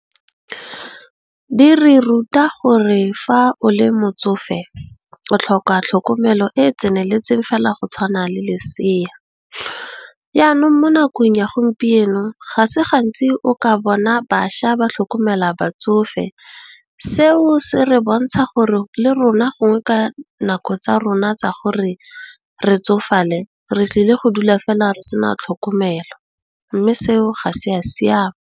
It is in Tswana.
Di re ruta gore fa o le motsofe o tlhoka tlhokomelo e e tseneletseng fela go tshwana le leseya yanong mo nakong ya gompieno ga se gantsi o ka bona bašwa ba tlhokomela batsofe. Seo se re bontsha gore le rona, gongwe ka nako tsa rona tsa gore re tsofale re tlile go dula fela re se na tlhokomelo mme, seo ga se a siame.